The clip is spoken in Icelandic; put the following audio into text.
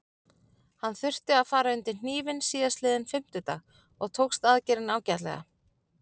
Hann þurfti að fara undir hnífinn síðastliðinn fimmtudag og tókst aðgerðin ágætlega.